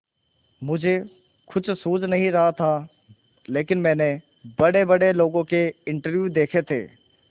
मुझे कुछ सूझ नहीं रहा था लेकिन मैंने बड़ेबड़े लोगों के इंटरव्यू देखे थे